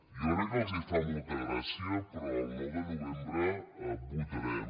crec que els fa molta gràcia però el nou de novembre vo·tarem